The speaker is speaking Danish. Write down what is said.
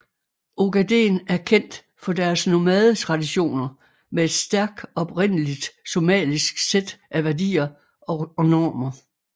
Ogaden er kendt for deres nomadetraditioner med et stærk oprindeligt somalisk sæt af værdier og normer